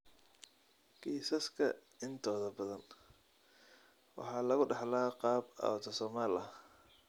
Kiisaska intooda badan waxaa lagu dhaxlaa qaab autosomal ah.